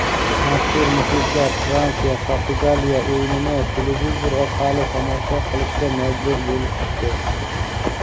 mazkur muxlislar Fransiya - Portugaliya o‘yinini televizor orqali tomosha qilishga majbur bo‘lishdi.